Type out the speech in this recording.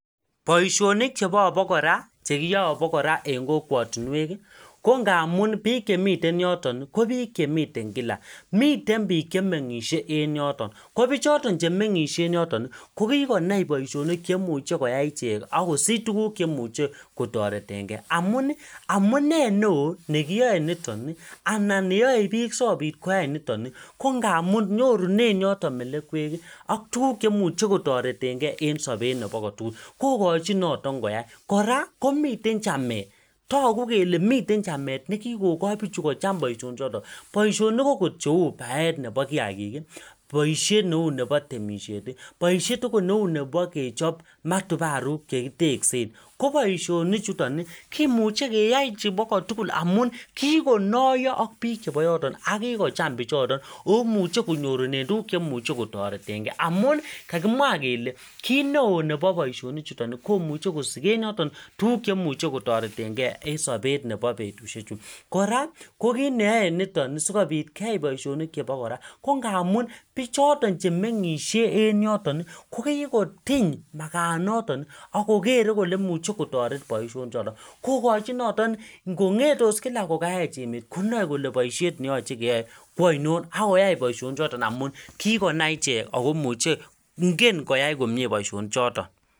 boishonik chebo abokora chekiyoe en kokwotinweki kongamun biik chemiten yotoni ko biik chemiten kila miten biik chemngishe en yoton ko bichoto che mengishe en yotoni kokikonai boishonik cheimuche koyai ichek akosich tuguk cheimuche kotorengee amuni amnuee neoo nekiyoe nitoni anan neyoe biik sikopit koyai nitoni kongamun nyorunen yotok melekweki ak tugukchemuche kotoretengee en sobet nebo kotugul kokochin notok koya kora komiten chamet toku kele miten chamet nekikokoi bichuto kocham boishonichuto boishonik okot neu baet nebo kiagiki boishet neu nebo temisheti boishet akot neu nebo kechop matubaruk chekiteksen koboishonichutoni kimuche keyai chebokotugul amun kikonoyo ak biik cheboyotoni ak kikocham bichotok omuche konyorunen tuguk chemuche kotoretengee amun kakimwa kele kitneoo nebo boishonichutoni komuche kosiken yotoni tuguk chemuche kotoretengee en sobet nebo betushechu kora kokitneyoe nitoni sikopit keyai boishoni chebo kora ko ngamun bichoto chemingishe en yotoni kokikotiny makanotoki akokere kole imuche kotoret boishonichoto kokochin notok ngongetos kila ko kaech emet konoe kole boishet neyoche keyoe ko ainon akoyai boishonichoto amun kikonai ichek akomuche ingen koyai komie ichek boishoni choto